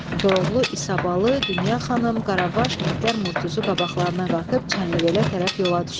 Koroğlu, İsabalı, Dünya xanım, Qaravaş, Mehdər Murtuzu qabaqlarına qatıb Çənlibelə tərəf yola düşdülər.